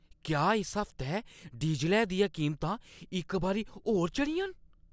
क्या इस हफ्तै डीज़लै दियां कीमतां इक बारी होर चढ़ियां न?